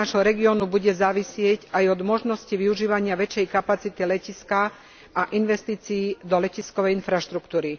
Rozvoj nášho regiónu bude závisieť aj od možnosti využívania väčšej kapacity letiska a investícií do letiskovej infraštruktúry.